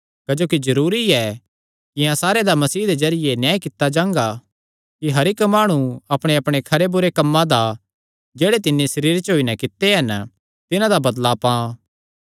क्जोकि जरूरी ऐ कि अहां सारेयां दा मसीह दे जरिये न्याय कित्ता जां कि हर इक्क माणु अपणेअपणे खरे बुरे कम्मां दा जेह्ड़े तिन्नी सरीरे च होई नैं कित्ते हन तिन्हां दा बदला पां